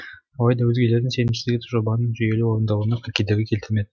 алайда өзгелердің сенімсіздігі жобаның жүйелі орындалуына кедергі келтірмеді